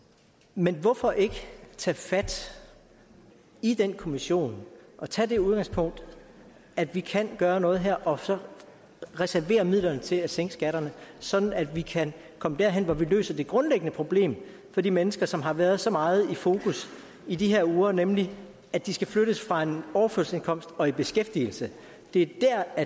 men hvorfor ikke tage fat i den kommission og tage det udgangspunkt at vi kan gøre noget her og så reservere midlerne til at sænke skatterne sådan at vi kan komme derhen hvor vi løser det grundlæggende problem for de mennesker som har været så meget i fokus i de her uger nemlig at de skal flyttes fra en overførselsindkomst og i beskæftigelse det er